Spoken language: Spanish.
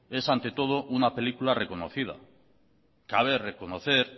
es ante todo una película reconocida cabe reconocer